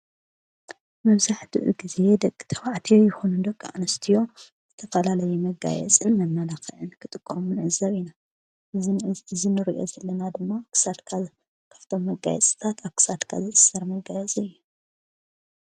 መብዛሕትኡ ጊዜ ደቂ ተባዕትዮ ይኾኑ ደቂ ኣንስትዮ ዝተፈላለዩ መጋየጽን መመላክዕን ክጥቀሙ ንዕዘብ ኢና። እዚ እንርእዩ ዘለና ድማ ኣብ ክሳድካ ካብቶም መጋየጽታት ኣብ ኽሳድካ ዝእሰር መጋየፂ እዩ።